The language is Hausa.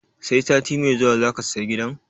Sai sati mai zuwa zaka saya gidan?